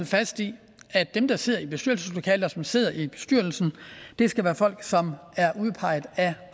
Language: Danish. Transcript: fast i at dem der sidder i bestyrelseslokalet og som sidder i bestyrelsen skal være folk som er udpeget af